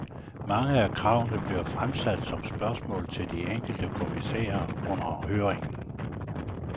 Mange af kravene blev fremsat som spørgsmål til de enkelte kommissærer under høringerne.